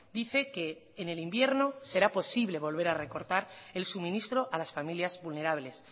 dice que en el invierno será posible volver a recortar el suministro a las familias vulnerables